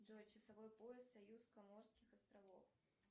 джой часовой пояс союз каморских островов